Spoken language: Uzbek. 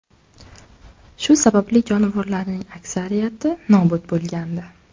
Shu sababli jonivorlarning aksariyati nobud bo‘lgandi.